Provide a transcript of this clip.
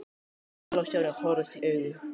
Vala og Stjáni horfðust í augu.